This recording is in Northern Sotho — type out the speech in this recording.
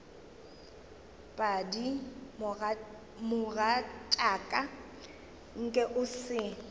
padi mogatšaka nke o se